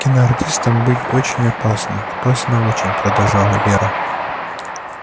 киноартистом быть очень опасно опасно очень продолжала вера